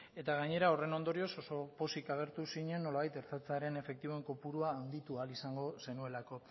eta gainera horren ondorioz oso pozik agertu zinen nolabait ertzaintzaren efektiboen kopurua handitu ahal izango zenuelako